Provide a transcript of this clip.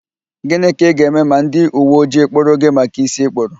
Gịnị ka ị ga-eme ma ndị uwe ojii kpụrụ gị maka ísí ịkpụrụ?